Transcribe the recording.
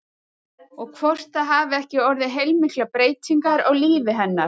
Og hvort það hafi ekki orðið heilmiklar breytingar á lífi hennar?